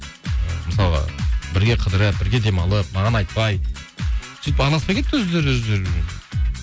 ы мысалға бірге қыдырып бірге демалып маған айтпай сөйтіп араласпай кетті өздері